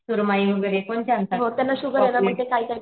सुरमई वगैरे कोणते आणतात पापलेट